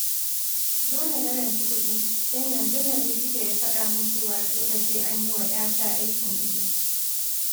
Dole na ranci kuɗi, don yanzun nan Likita ya faɗa min cewa dole sai an yi wa 'yata aikin ido